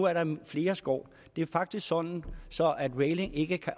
er der flere skår det er faktisk sådan at reiling ikke kan